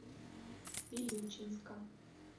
вилючинска